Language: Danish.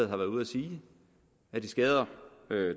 har været ude at sige at det skader